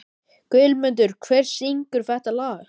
Vilmundur, hver syngur þetta lag?